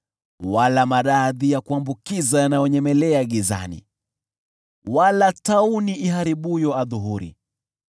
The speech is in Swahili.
wala maradhi ya kuambukiza yanayonyemelea gizani, wala tauni iharibuyo adhuhuri.